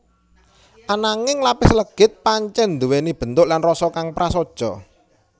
Ananging lapis legit pancèn nduwèni bentuk lan rasa kang prasaja